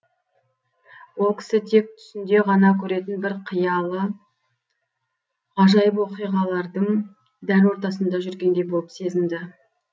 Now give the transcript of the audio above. ол кісі тек түсінде ғана көретін бір қиялы ғажайып оқиғалардың дәл ортасында жүргендей болып сезінді